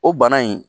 O bana in